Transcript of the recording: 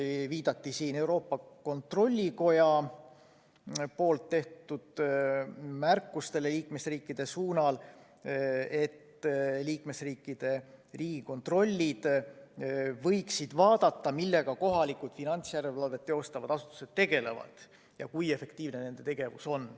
Siin viidati Euroopa Kontrollikoja liikmesriikide suunal tehtud märkustele, mille järgi liikmesriikide riigikontrollid võiksid vaadata, millega kohalikud finantsjärelevalvet teostavad asutused tegelevad ja kui efektiivne on nende tegevus.